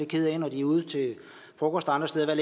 kede af det når de er ude til frokost andre steder og